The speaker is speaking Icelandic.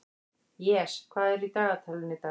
Jes, hvað er í dagatalinu í dag?